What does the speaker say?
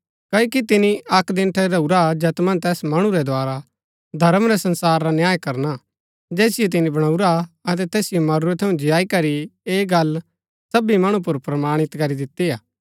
क्ओकि तिनी अक्क दिन ठहराऊरा हा जैत मन्ज तैस मणु रै द्धारा धर्म रै संसार रा न्याय करणा जैसिओ तिनी बणाऊरा अतै तैसिओ मरूरै थऊँ जियाई करी ऐह गल्ल सबी मणु पुर प्रमाणित करी दिती हा